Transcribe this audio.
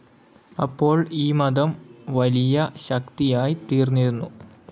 അപ്പോൾ ഈ മതം വലിയ ശക്തിയായി തീർന്നിരുന്നു.